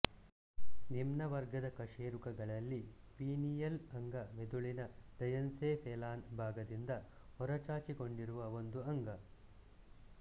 ನಿಮ್ನವರ್ಗದ ಕಶೇರುಕಗಳಲ್ಲಿ ಪೀನಿಯಲ್ ಅಂಗ ಮಿದುಳಿನ ಡಯನ್ಸೆಫೆಲಾನ್ ಭಾಗದಿಂದ ಹೊರಚಾಚಿಕೊಂಡಿರುವ ಒಂದು ಅಂಗ